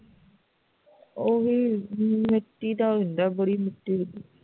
ਉਹ ਵੀ ਮਿੱਟੀ ਦਾ ਹੁੰਦਾ ਹੈ ਬੜੀ ਮਿੱਟੀ ਉੱਡਦੀ